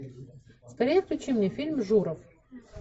скорее включи мне фильм журов